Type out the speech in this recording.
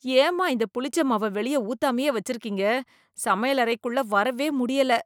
ஏம்மா இந்த புளிச்ச மாவ வெளிய ஊத்தாமையே வச்சிருக்கீங்க, சமையலறைக்குள்ள வரவே முடியல